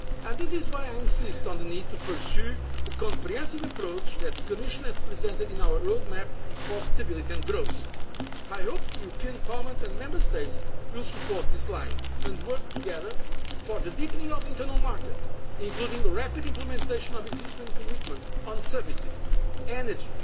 citizens. This is why I insist on the need to pursue the comprehensive approach that the Commission has presented in our road map for stability and growth. I hope Parliament and the Member States will support this line and work together for the deepening of the internal market, including the rapid implementation of existing commitments on services,